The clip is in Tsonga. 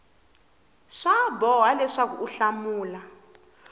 swa boha leswaku u hlamula